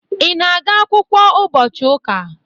Ị na-aga akwụkwọ ụbọchị ụka?